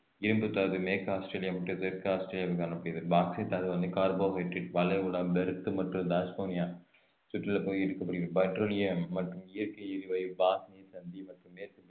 இரும்புத்தாது மேற்கு ஆஸ்திரேலியா மற்றும் தெற்கு ஆஸ்திரேலியாவில் காணப்படுகிறது பாக்சைட் தாதுவானது வளைகுடா பெர்த் மற்றும் டாஸ்மேனியா சுற்றியுள்ள பகுதியில் எடுக்கப்படுகிறது பெட்ரோலியம் மற்றும் இயற்கை எரிவாயு பாஸ் நீர்சந்தி மற்றும் மேற்கு